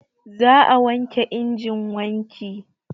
Za a wanke injin wanki